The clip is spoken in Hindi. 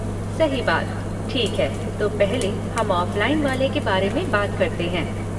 सही बात, ठीक है, तो पहले हम ऑफलाइन वाले के बारे में बात करते हैं।